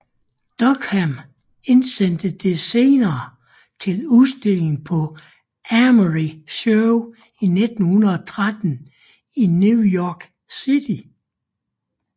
Duchamp indsendte det senere til udstilling på Armory Show 1913 i New York City